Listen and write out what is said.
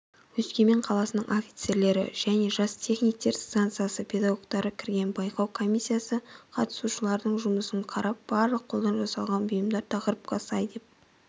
өскемен қаласының офицерлері және жас техниктер станциясы педагогтары кірген байқау комиссиясы қатысушылардың жұмысын қарап барлық қолдан жасалған бұйымдар тақырыпқа сай деп